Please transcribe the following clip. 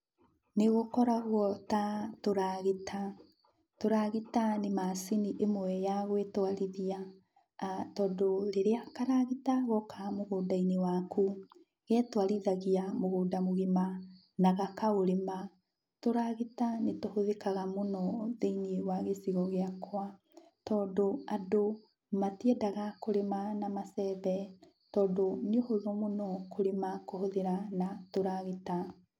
Nĩgũkoragwo ta tũragita, tũragita nĩ macini imwe ya gwĩtwarithia tondũ rĩrĩa karagĩta goka mũgũnda-inĩ wakũ getwarithagia mũgũnda mũgima na gakaũrĩma. Tũragita nĩtũhũthĩkaga mũno thĩiniĩ wa gĩcigo gĩakwa tondũ andũ matiendaga kũrĩma na macembe tondũ nĩ ũhũthũ mũno kũrĩma kũhũthĩra na tũragita